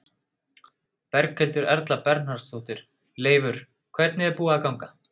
Berghildur Erla Bernharðsdóttir: Leifur, hvernig er búið að ganga?